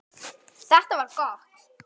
Þetta var gott.